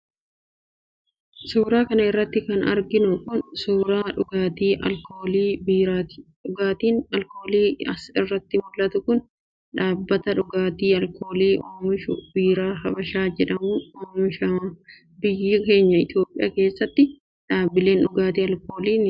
Suura kana irratti kan arginu kun, suura dhugaatii alkoolii biiraati. Dhugaatiin alkoolii as irratti mul'atu kun, dhaabbata dhugaatii alkoolii oomishu, Biiraa Habashaa jedhamuun oomishama. Biyya keenya Itoophiyaa keessa, dhaabbileen dhugaatii alkoolii biiraa oomishan baay'etu jira.